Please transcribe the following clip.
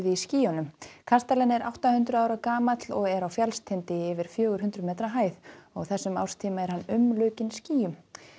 skýjunum kastalinn er átta hundruð ára gamall og er á fjallstindi í yfir fjögur hundruð metra hæð og á þessum árstíma er hann umlukinn skýjum